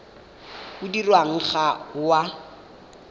o dirwang ga o a